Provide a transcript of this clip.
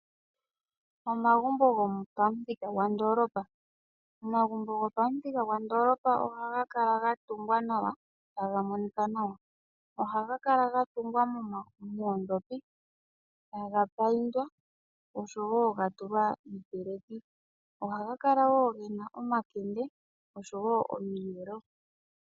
Omagumbo gopamuthika gwondoolopa ohaga kala ga tungwa nawa, taga monika nawa. Ohaga kala ga tungwa noondhopi e taga payindwa oshowo ga tulwa iipeleki ohaga kala wo ge na omakende oshowo omiyelo.